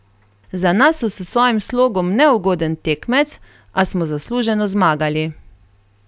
Za nas so s svojim slogom neugoden tekmec, a smo zasluženo zmagali.